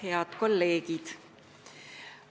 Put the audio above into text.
Head kolleegid!